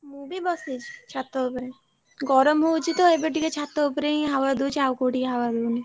ମୁ ବି ବସିଛି ଛାତ ଉପରେ ଗରମ ହଉଛି ତ ଏବେ ଟିକେ ଛାତ ଉପରେ ହିଁ हवा ଦଉଛି ଔଆ କୋଉଠି हवा ଦଉନି।